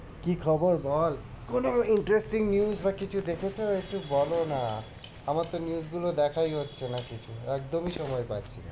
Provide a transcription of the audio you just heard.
কি খবর বল কোনো interesting news বা কিছু দেখেছো একটু বলো না আমার তো news গুলো দেখাই হচ্ছে না কিছু একদমই সময় পাচ্ছি না।